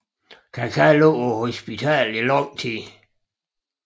Kaká lå på hospitalet i lang tid